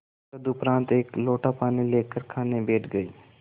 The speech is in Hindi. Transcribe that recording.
तदुपरांत एक लोटा पानी लेकर खाने बैठ गई